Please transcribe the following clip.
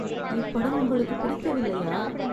இப்படம் உங்களுக்குப் பிடிக்கவில்லையா ?